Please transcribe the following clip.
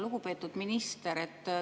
Lugupeetud minister!